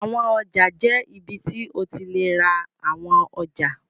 Àwọn ọjà jẹ́ ibi tí o ti lè ra àwọn ọjà.